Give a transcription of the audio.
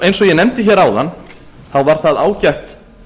eins og ég nefndi áðan var það ágætt